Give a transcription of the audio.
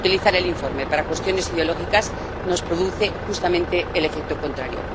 Utilizar el informe para cuestiones ideológicas nos produce justamente el efecto contrario.